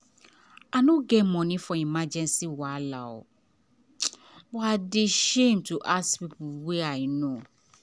i no get money for emergency wahala but i dey shame to ask people wey i know.